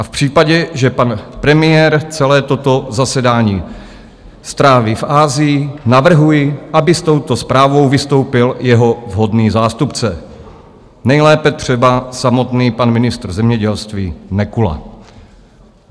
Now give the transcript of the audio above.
A v případě, že pan premiér celé toto zasedání stráví v Asii, navrhuji, aby s touto zprávou vystoupil jeho vhodný zástupce, nejlépe třeba samotný pan ministr zemědělství Nekula.